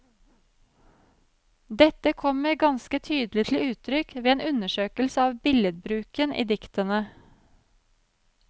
Dette kommer ganske tydelig til uttrykk ved en undersøkelse av billedbruken i diktene.